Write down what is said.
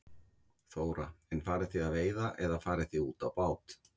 Þóra: En farið þið að veiða eða farið þið út á bát?